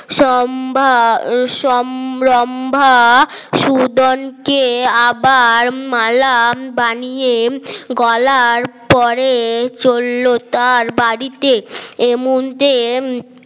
সোমবার রম্ভা সুদন কে আবার মালাম বানিয়ে গলার পরে চলল তার বাড়িতে এমুহুর্তে